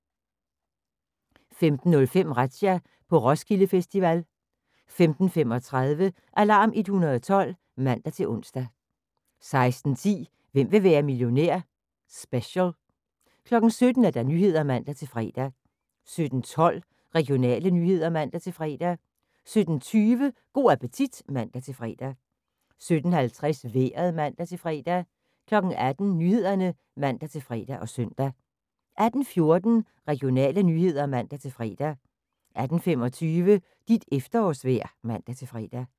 15:05: Razzia – på Roskilde Festival 15:35: Alarm 112 (man-ons) 16:10: Hvem vil være millionær? Special 17:00: Nyhederne (man-fre) 17:12: Regionale nyheder (man-fre) 17:20: Go' appetit (man-fre) 17:50: Vejret (man-fre) 18:00: Nyhederne (man-fre og søn) 18:14: Regionale nyheder (man-fre) 18:25: Dit efterårsvejr (man-fre)